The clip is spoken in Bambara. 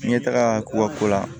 N ye taga koba ko la